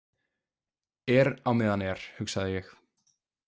Er á meðan er, hugsaði ég.